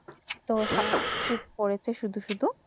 তো তো শীতপড়েছে সুদু সুদু